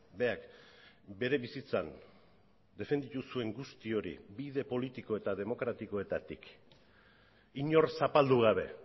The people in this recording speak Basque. berak bere bizitzan defenditu zuen guzti hori bide politiko eta demokratikoetatik inor zapaldu gabe